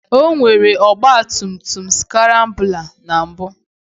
O nwere ọgba tum tum skrambụla na mbụ